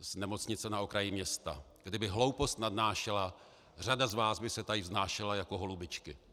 z Nemocnice na okraji města: Kdyby hloupost nadnášela, řada z vás by se tady vznášela jako holubičky.